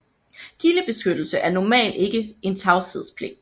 Kildebeskyttelse er normalt ikke en tavshedspligt